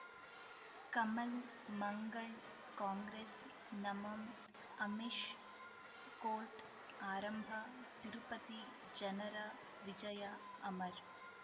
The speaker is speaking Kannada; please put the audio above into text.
ಕಮಲ್ ಮಂಗಳ್ ಕಾಂಗ್ರೆಸ್ ನಮಮ್ ಅಮಿಷ್ ಕೋರ್ಟ್ ಆರಂಭ ತಿರುಪತಿ ಜನರ ವಿಜಯ ಅಮರ್